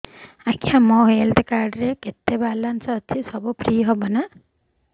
ଆଜ୍ଞା ମୋ health card ରେ କେତେ ବାଲାନ୍ସ ଅଛି ସବୁ ଫ୍ରି ହବ ନାଁ